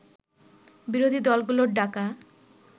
বিরোধী দলগুলোর ডাকা